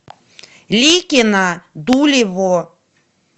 ликино дулево